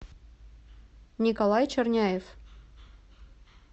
николай черняев